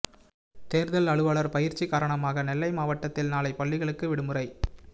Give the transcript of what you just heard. தேர்தல் அலுவலர் பயிற்சி காரணமாக நெல்லை மாவட்டத்தில் நாளை பள்ளிகளுக்கு விடுமுறை